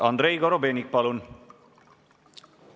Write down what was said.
Andrei Korobeinik, palun!